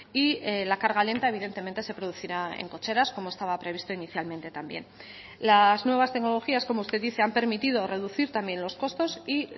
y la carga lenta evidentemente se producirá en cocheras como estaba previsto inicialmente también las nuevas tecnologías como usted dice han permitido reducir también los costos y